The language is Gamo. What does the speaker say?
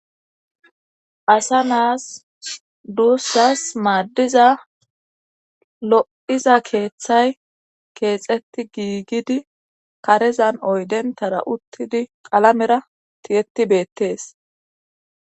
asa naas duussas maaddiza lo7iza keeththay keexetti giigidi karezan oydentara uttidi qalamera tiyetti beettees